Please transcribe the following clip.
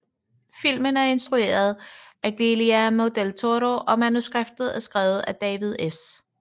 Filmen er instrueret af Guillermo del Toro og manuskriptet er skrevet af David S